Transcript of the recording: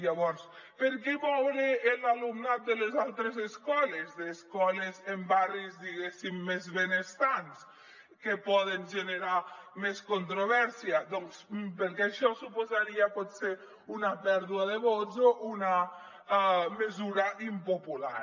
llavors per què moure l’alumnat de les altres escoles d’escoles en barris diguéssim més benestants que poden generar més controvèrsia doncs perquè això suposaria potser una pèrdua de vots o una mesura impopular